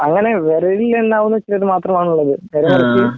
അങ്ങനെ വിരലിലെണ്ണാവുന്ന ചിലര് മാത്രമാണുള്ളത്